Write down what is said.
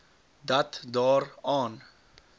dat daar aan